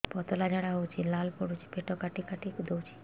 ପତଳା ଝାଡା ହଉଛି ଲାଳ ପଡୁଛି ପେଟ କାଟି କାଟି ଦଉଚି